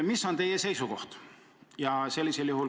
Mis on teie seisukoht?